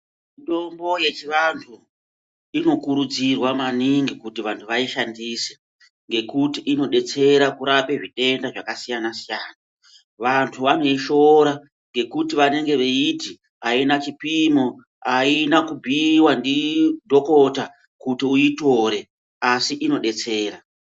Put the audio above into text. Mitombo yechivantu inokurudzirwa maningi kuti vantu vaishandise ngekuti inodetsera kurape zvitenda zvakasiyanasiyana. Vantu vanoishoora ngekuti vanenge veiti aina chipimo aina kubhuyiwa ndidhokotha kuti uitore asi inodetsera.